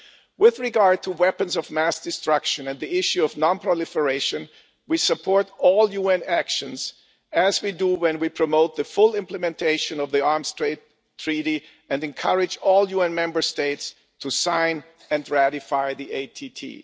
With regard to weapons of mass destruction and the issue of non proliferation, we support all UN actions, as we do when we promote the full implementation of the Arms Trade Treaty and encourage all UN Member States to sign and ratify it.